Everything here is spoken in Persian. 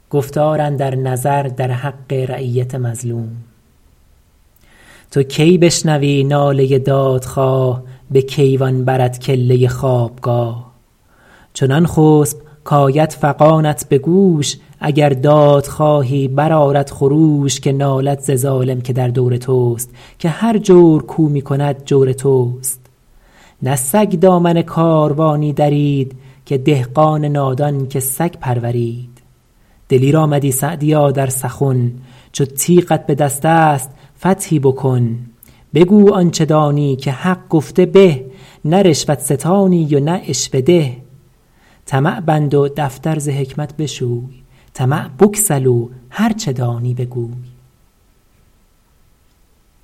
تو کی بشنوی ناله دادخواه به کیوان برت کله خوابگاه چنان خسب کآید فغانت به گوش اگر دادخواهی برآرد خروش که نالد ز ظالم که در دور توست که هر جور کاو می کند جور توست نه سگ دامن کاروانی درید که دهقان نادان که سگ پرورید دلیر آمدی سعدیا در سخن چو تیغت به دست است فتحی بکن بگو آنچه دانی که حق گفته به نه رشوت ستانی و نه عشوه ده طمع بند و دفتر ز حکمت بشوی طمع بگسل و هرچه دانی بگوی